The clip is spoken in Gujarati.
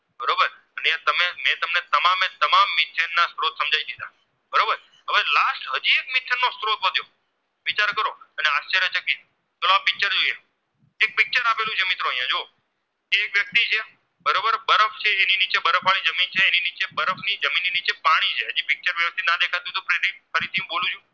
ની બરફ જમીનની નીચે પાણી છે ફરીથી હું બોલું છું